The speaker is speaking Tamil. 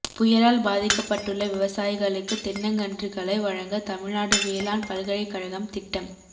புயலால் பாதிக்கப்பட்டுள்ள விவசாயிகளுக்கு தென்னங்கன்றுகளை வழங்க தமிழ்நாடு வேளாண் பல்கலைக்கழகம் திட்டம்